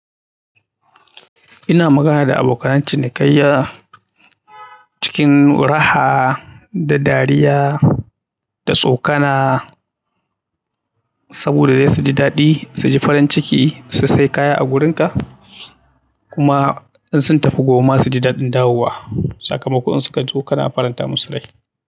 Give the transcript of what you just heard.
Ina magana da abokanan cini kaiya cikin raha da dariya da tsokana saboda dai su ji daɗi, su ji farin ciki su sai kaya a gurin ka. Kuma in sun tafi gobe ma suji daɗin dawowa. Saka maon in su ka zo kana faranta musu rai.